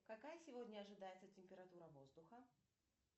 какая сегодня ожидается температура воздуха